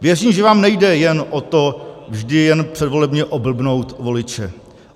Věřím, že vám nejde jen o to vždy jen předvolebně oblbnout voliče.